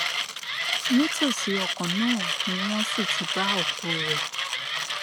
nítòsí ọkọ náà ni wọn sì ti bá òkú rẹ